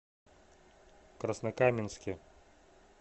краснокаменске